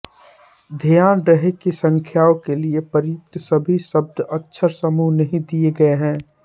ध्यान रहे कि संख्याओं के लिये प्रयुक्त सभी शब्द अक्षरसमूह नही दिये गये हैं